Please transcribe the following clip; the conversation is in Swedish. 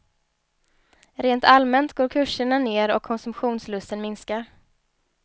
Rent allmänt går kurserna ner och konsumtionslusten minskar.